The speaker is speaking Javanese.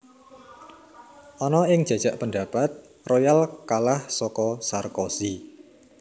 Ana ing jajak pendapat Royal kalah saka Sarkozy